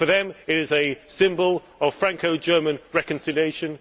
For them it is a symbol of Franco German reconciliation.